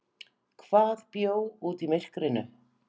Hvað bjó úti í myrkrinu?